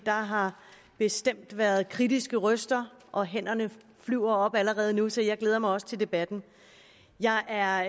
har bestemt været kritiske røster og hænderne flyver op allerede nu så jeg glæder mig også til debatten jeg er